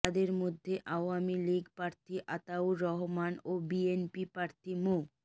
তাদের মধ্যে আওয়ামী লীগ প্রার্থী আতাউর রহমান ও বিএনপি প্রার্থী মো